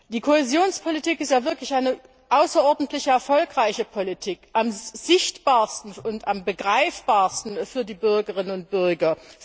Die Kohäsionspolitik ist wirklich eine außerordentlich erfolgreiche Politik, am sichtbarsten und begreifbarsten für die Bürgerinnen und Bürger.